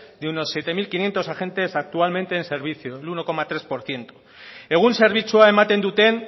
de unos siete mil quinientos agentes actualmente en servicio el uno coma tres por ciento egun zerbitzua ematen duten